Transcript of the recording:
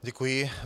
Děkuji.